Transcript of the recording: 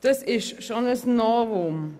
Das ist schon ein Novum.